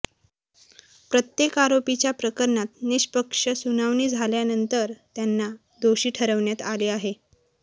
प्रत्येक आरोपीच्या प्रकरणात निष्पक्ष सुनावणी झाल्यानंतर त्यांना दोषी ठरवण्यात आले आहे